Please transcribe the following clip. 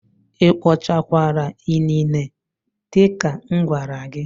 Ị kpochakwara inine dị ka m gwara gị?